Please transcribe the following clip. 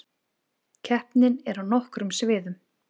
Keppnin er á nokkrum sviðum